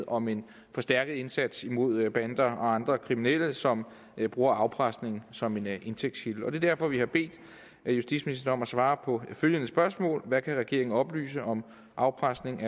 om en forstærket indsats imod bander og andre kriminelle som bruger afpresning som en indtægtskilde og det er derfor vi har bedt justitsministeren om at svare på følgende spørgsmål hvad kan regeringen oplyse om afpresning